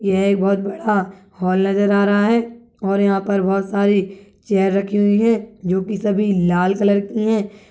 एक बहुत बड़ा हॉल नजर आ रहा है और यहाँ पर बहुत सारी चेयर रखी हुई है जो कि सभी लाल कलर की है।